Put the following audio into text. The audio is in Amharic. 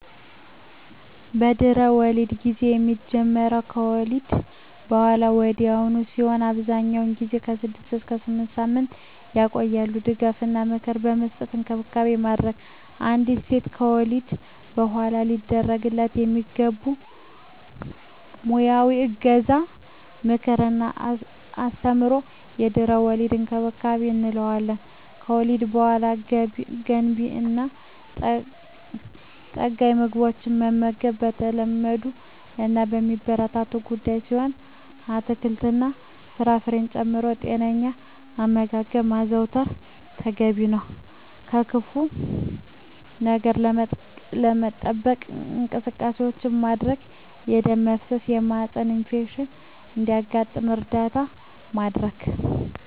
የድህረ-ወሊድ ጊዜ የሚጀምረው ከወሊድ በሃላ ወዲያውኑ ሲሆን አብዛኛውን ጊዜ ከ6 እስከ 8 ሳምንታት ይቆያል ድጋፍ እና ምክር በመስጠት እንክብካቤ ማድረግ። አንዲት ሴት ከወለደች በሃላ ሊደረግላት የሚገቡ ሙያዊ እገዛ ምክር እና አስተምሮ የድህረ-ወሊድ እንክብካቤ እንለዋለን። ከወሊድ በሃላ ገንቢ እና ጠጋኝ ምግቦችን መመገብ የተለመዱ እና የሚበረታቱ ጉዳይ ሲሆን አትክልት እና ፍራፍሬ ጨምሮ ጤነኛ አመጋገብ ማዘውተር ተገቢ ነው። ከክፋ ነገር ለመጠበቅ እንቅስቃሴዎች ማድረግ የደም መፍሰስ የማህፀን ኢንፌክሽን እንዳያጋጥም እርዳታ ማድረግ።